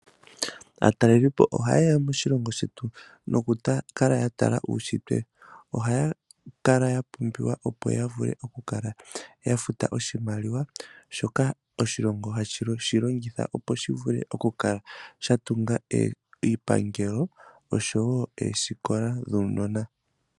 Aatalelipo ohaye ya moshilongo shetu opo yakale yatala uushitwe ohaya kala yapumbiwa opo yavule okukala yafuta oshimaliwa shoka oshilongo hashi longitha opo shivule okukala shatunga iipangelo noosikola dhuunona.